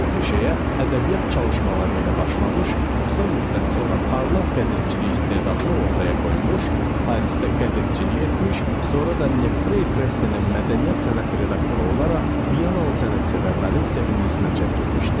Bu peşəyə ədəbiyyat çalışmaları ilə başlamış, qısa müddət sonra parlaq qəzetçilik istedadını ortaya qoymuş, Parisdə qəzetçilik etmiş, sonra da Nefre Press-in mədəniyyət sənət redaktoru olaraq Viyanalı sənətsevərlərin sevimlisine çevrilmişdi.